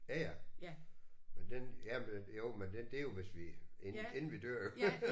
Ja ja. Men den ja men jo men det er jo hvis vi inden vi dør jo